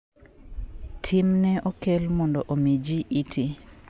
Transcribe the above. tim ne okel mondo omi ji iti